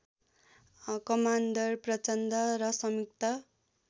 commander Prachanda र संयुक्त